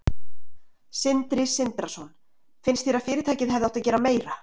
Sindri Sindrason: Finnst þér að fyrirtækið hefði átt að gera meira?